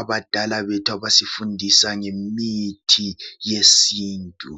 abadala bethu abasifundisa ngemithi yesintu.